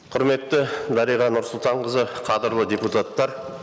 құрметті дариға нұрсұлтанқызы қадірлі депутаттар